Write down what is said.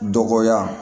Dɔgɔya